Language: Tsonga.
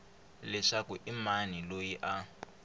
leswaku i mani loyi a